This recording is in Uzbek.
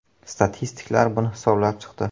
Statistiklar buni hisoblab chiqdi.